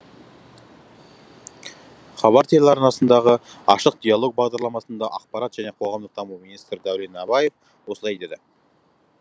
хабар телеарнасындағы ашық диалог бағдарламасында ақпарат және қоғамдық даму министрі дәурен абаев осылай деді